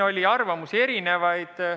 Arvamusi oli erinevaid.